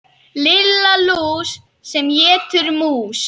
Lilla lús sem étur mús.